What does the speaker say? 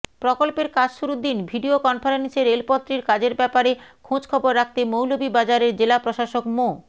প্রকল্পের কাজ শুরুর দিন ভিডিও কনফারেন্সে রেলপথটির কাজের ব্যাপারে খেঁাঁজখবর রাখতে মৌলভীবাজারের জেলা প্রশাসক মো